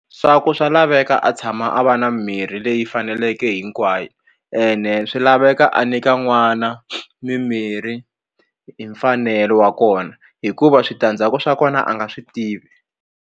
Swa ku swa laveka a tshama a va na mimirhi leyi faneleke hinkwayo ene swi laveka a nyika n'wana mimirhi hi mfanelo wa kona hikuva switandzhaku swa kona a nga swi tivi.